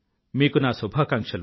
మీకు నా శుభాకాంక్షలు